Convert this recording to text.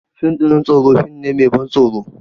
Fim ɗin tsoro fim ne mai ban tsoro